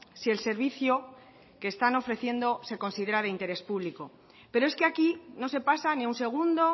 si el servicio que están ofreciendo se considera de interés público pero es que aquí no se pasa ni a un segundo